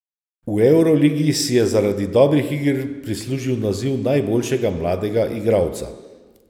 V evroligi si je zaradi dobrih iger prislužil naziv najboljšega mladega igralca.